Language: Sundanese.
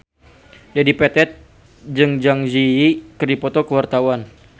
Dedi Petet jeung Zang Zi Yi keur dipoto ku wartawan